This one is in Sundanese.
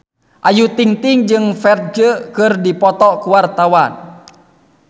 Ayu Ting-ting jeung Ferdge keur dipoto ku wartawan